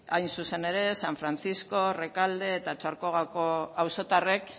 hain zuzen ere san francisco rekalde eta otxarkoagako auzotarrek